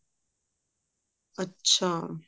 ਅੱਛਾ